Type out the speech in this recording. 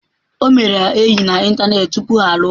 O mere ya enyi na ịntanetị tupu ha alụọ.